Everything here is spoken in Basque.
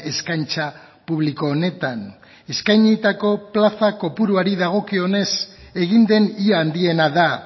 eskaintza publiko honetan eskainitako plaza kopuruari dagokionez egin den ia handiena da